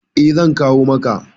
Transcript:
Eh zan kawo maka.